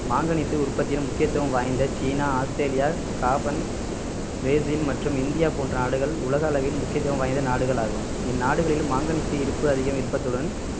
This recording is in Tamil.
மாங்கனீசு உற்பத்தியிலும் முக்கியத்துவம் வாய்ந்த சீனா ஆஸ்திரேலியா காபன் பிரேசில் மற்றும் இந்தியா போன்ற நாடுகள் உலக அளவில் முக்கியத்துவம் வாய்ந்த நாடுகளாகும் இந்நாடுகளில் மாங்கனீசு இருப்பு அதிகம் இருப்பதுடன்